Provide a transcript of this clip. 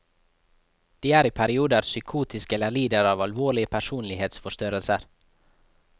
De er i perioder psykotiske eller lider av alvorlige personlighetsforstyrrelser.